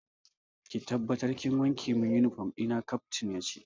Ki tabbatar kin wanke min uniform dina, Captain yace.